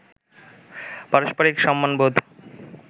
পারস্পরিক সম্মানবোধ